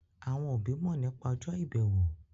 Àwọn òbí mọ̀ nípa ọjọ́ ìbẹ̀wò.